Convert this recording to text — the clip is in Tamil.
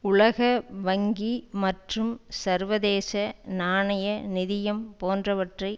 உலக வங்கி மற்றும் சர்வதேச நாணய நிதியம் போன்றவற்றை